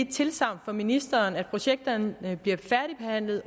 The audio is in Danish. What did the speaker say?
tilsagn fra ministeren om at projekterne bliver færdigbehandlet